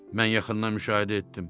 Mən yaxından müşahidə etdim.